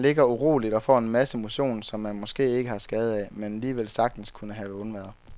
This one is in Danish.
Man ligger uroligt og får en masse motion, som man måske ikke har skade af, men alligevel sagtens kunne have undværet.